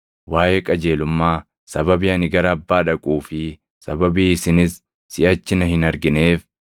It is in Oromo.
waaʼee qajeelummaa, sababii ani gara Abbaa dhaquu fi sababii isinis siʼachi na hin argineef;